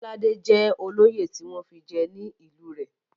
Bọ́ládé jẹ́ olóyè tí wọ́n fi jẹ ní ìlú rẹ̀.